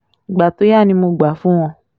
ìgbà tó yá ni mo gbà fún wọn